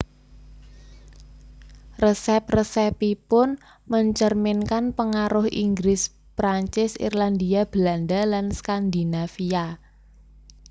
Resep resepipun mencerminkan pengaruh Inggris Perancis Irlandia Belanda lan Skandinavia